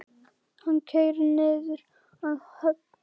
Hann keyrir niður að höfn.